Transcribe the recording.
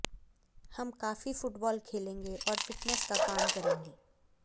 हम काफी फुटबॉल खेलेंगे और फिटनेस का काम करेंगे